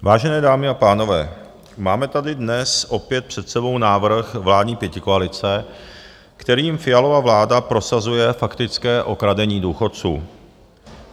Vážené dámy a pánové, máme tady dnes opět před sebou návrh vládní pětikoalice, kterým Fialova vláda prosazuje faktické okradení důchodců.